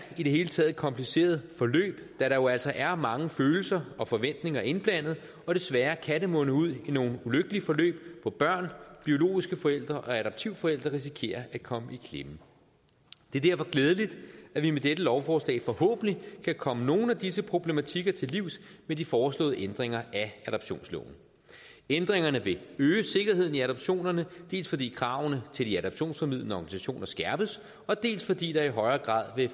i det hele taget et kompliceret forløb da der jo altså er mange følelser og forventninger indblandet og desværre kan det munde ud i nogle ulykkelige forløb hvor børn biologiske forældre og adoptivforældre risikerer at komme i klemme det er derfor glædeligt at vi med dette lovforslag forhåbentlig kan komme nogle af disse problematikker til livs med de foreslåede ændringer af adoptionsloven ændringerne vil øge sikkerheden i adoptionerne dels fordi kravene til de adoptionsformidlende organisationer skærpes og dels fordi der i højere grad vil